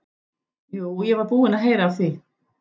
Jú, ég var búinn að heyra af því.